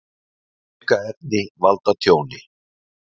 Aukaefni valda tjóni